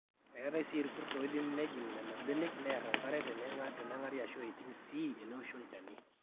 eetai sii irkut ooidim nejing nena benek neer enkare tenenang'ari aashu eiting sii eneoshi olchani